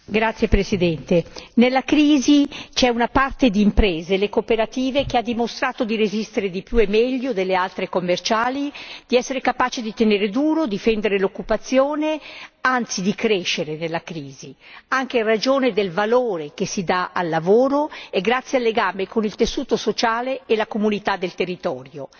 Signor Presidente, onorevoli colleghi, nella crisi c'è una parte di imprese le cooperative che ha dimostrato di resistere di più e meglio delle altre, di essere capace di tenere duro, difendere l'occupazione anzi di crescere nella crisi anche in ragione del valore che si dà al lavoro e grazie al legame con il tessuto sociale e la comunità del territorio.